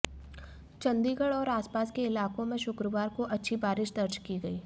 चंडीगढ़ और आसपास के इलाकों में शुक्रवार को अच्छी बारिश दर्ज की गई